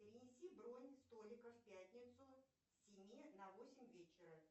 перенеси бронь столика в пятницу с семи на восемь вечера